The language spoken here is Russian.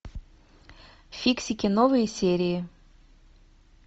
фиксики новые серии